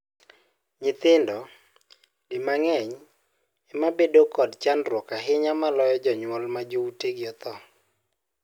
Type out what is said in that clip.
Nyithindo, di mang'eny, ema bedo kod chandruok ahinya moloyo jonyuol ma joutegi othoo.